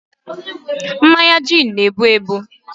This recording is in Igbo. mmanya gin n' ebu ebu